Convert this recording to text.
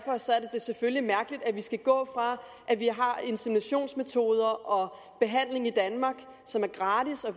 det selvfølgelig mærkeligt at vi skal gå fra at vi har inseminationsmetoder og behandling i danmark som er gratis og